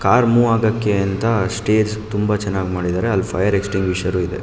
Car move ಆಗೋಕೆ ಅಂತ stage ತುಂಬ ಚೆನ್ನಾಗಿ ಮಾಡಿದ್ದಾರೆ ಅಲ್ಲಿ ಫೈರ್ ಅಸ್ಟಿಂಗ್ವಿಶೇರ್ ಕೂಡ ಇದೆ.